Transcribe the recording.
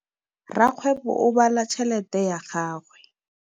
Rakgwêbô o bala tšheletê ya gagwe.